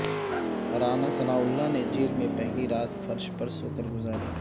رانا ثناءاللہ نے جیل میں پہلی رات فرش پر سو کر گزاری